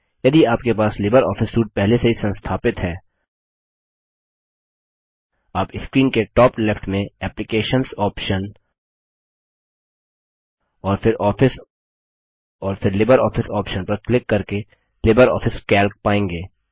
यदि आपके पास लिबर ऑफिस सूट पहले से ही संस्थापित है आप स्क्रीन के टॉप लेफ्ट में एप्लिकेशंस ऑप्शन और फिर आफिस और फिर लिब्रियोफिस ऑप्शन पर क्लिक करके लिबर ऑफिस कैल्क पायेंगे